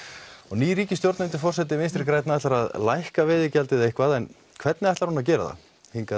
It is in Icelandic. ný ríkisstjórn undir forsæti Vinstri grænna ætlar að lækka veiðigjaldið eitthvað en hvernig ætlar hún að gera það hingað